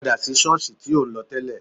Padà sí ṣọ́ọ̀sì tí ò ń lọ tẹ́lẹ̀